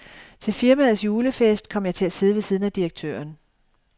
Til firmaets julefest kom jeg til at sidde ved siden af direktøren.